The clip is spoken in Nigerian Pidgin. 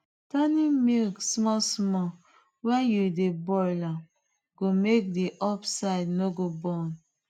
turning milk small small when you dey boil am go make the up side no go burn